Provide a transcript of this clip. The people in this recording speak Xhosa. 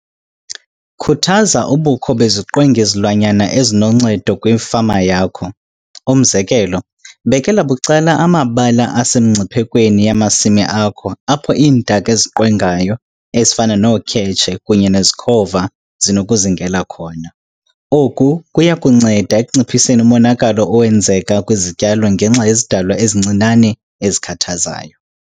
Khuthaza ubukho beziqwengi-zilwanyana ezinoncedo kwifama yakho. Umzekelo, bekela bucala amabala asemingciphekweni yamasimi akho apho iintaka eziqwengayo ezifana nookhetshe kunye nezikhova zinokuzingela khona. Oku kuya kunceda ekunciphiseni umonakalo owenzeka kwizityalo ngenxa yezidalwa ezincinane ezikhathazayo.